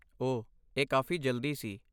ਓਹ, ਇਹ ਕਾਫ਼ੀ ਜਲਦੀ ਸੀ!